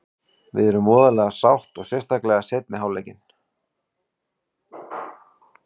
Við erum voðalega sátt og sérstaklega seinni hálfleikinn.